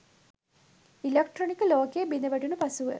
ඉලෙක්ට්‍රොනික ලෝකය බිඳ වැටුණු පසුව